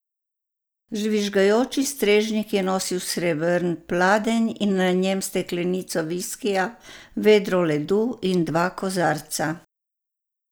Žvižgajoči strežnik je nosil srebrn pladenj in na njem steklenico viskija, vedro ledu in dva kozarca.